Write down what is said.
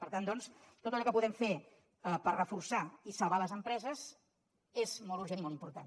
per tant doncs tot allò que puguem fer per reforçar i salvar les empreses és molt urgent i molt important